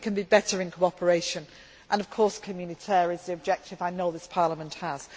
I think we can be better in cooperation and, of course, communautaire is the objective I know this Parliament has.